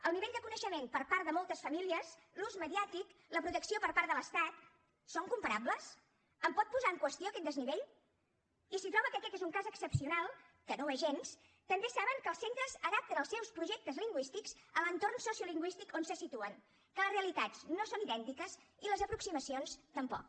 el nivell de coneixement per part de moltes famílies l’ús mediàtic la protecció per part de l’estat són comparables em pot posar en qüestió aquest desnivell i si troba que aquest és un cas excepcional que no ho és gens també saben que els centres adapten els seus projectes lingüístics a l’entorn sociolingüístic on se situen que les realitats no són idèntiques i les aproximacions tampoc